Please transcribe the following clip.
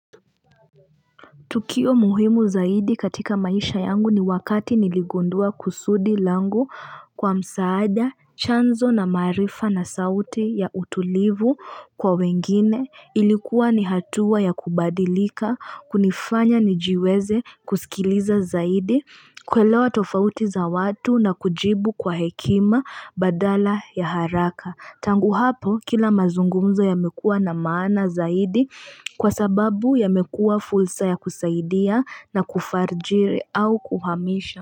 Tukio muhimu zaidi katika maisha yangu ni wakati niligundua kusudi langu kwa msaada chanzo na maarifa na sauti ya utulivu kwa wengine ilikuwa ni hatua ya kubadilika kunifanya nijiweze kusikiliza zaidi kuelewa tofauti za watu na kujibu kwa hekima badala ya haraka. Tangu hapo kila mazungumzo yamekuwa na maana zaidi kwa sababu yamekuwa fursa ya kusaidia na kufarijiri au kuhamisha.